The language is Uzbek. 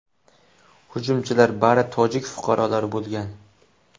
Hujumchilar bari tojik fuqarolari bo‘lgan.